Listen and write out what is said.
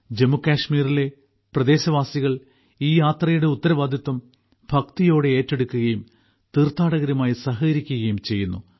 ജമ്മുകശ്മീരിലെ പ്രദേശവാസികൾ ഈ യാത്രയുടെ ഉത്തരവാദിത്വം ഭക്തിയോടെ ഏറ്റെടുക്കുകയും തീർഥാടകരുമായി സഹകരിക്കുകയും ചെയ്യുന്നു